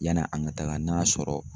Yann'an ka taaga n'a sɔrɔ